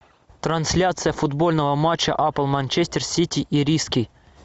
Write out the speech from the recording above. трансляция футбольного матча апл манчестер сити и риски